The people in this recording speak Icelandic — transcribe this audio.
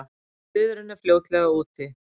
En friðurinn er fljótlega úti.